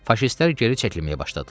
Faşistlər geri çəkilməyə başladılar.